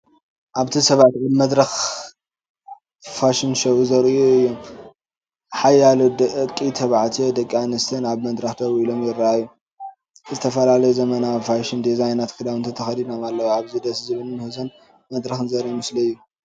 ኣብቲ ሰባት ኣብ መድረኽ ፋሽን ሾው ዘርእዩ እዮም። ሓያሎ ደቂ ተባዕትዮን ደቂ ኣንስትዮን ኣብ መድረኽ ደው ኢሎም ይረኣዩ። ዝተፈላለዩ ዘመናዊ ፋሽን ዲዛይናትን ክዳውንትን ተኸዲኖም ኣለዉ። እዚ ደስ ዝበል ምህዞን መድረኽን ዘረኢ መስሊ እዩ።